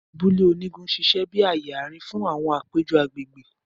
Abule onigun n ṣiṣẹ bi aaye aarin fun awọn apejọ agbegbe.